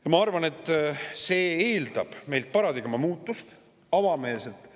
Ja ma arvan, et see eeldab meilt paradigma muutust, avameelselt.